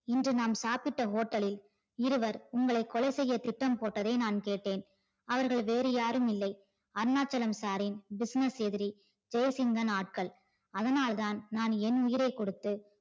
இன்று நாம் சாப்பிட hotel லில் இருவர் உங்களை கொலை செய்ய திட்டம் போட்டதை நான் கேட்டேன். அவர்கள் வேறு யாருமில்லை அருணாச்சலம் sir ரின் business எதிரி ஜெய்சிங்கன் ஆட்கள். அதனால் தான் நான் என் உயிரை கொடுத்து